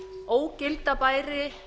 ógilda bæri